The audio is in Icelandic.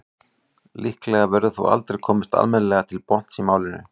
líklega verður þó aldrei komist almennilega til botns í málinu